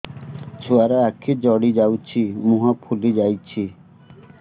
ଛୁଆର ଆଖି ଜଡ଼ି ଯାଉଛି ମୁହଁ ଫୁଲି ଯାଇଛି